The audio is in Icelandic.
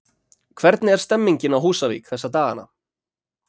Hvernig er stemningin á Húsavík þessa dagana?